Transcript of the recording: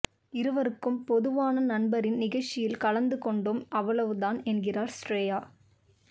இருவருக்கும் பொதுவான நண்பரின் நிகழ்ச்சியில் கலந்து கொண்டோம் அவ்வளவு தான் என்கிறார் ஸ்ரேயா